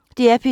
DR P2